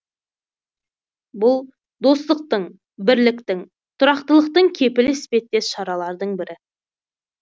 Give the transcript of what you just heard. бұл достықтың бірліктің тұрақтылықтың кепілі іспеттес шаралардың бірі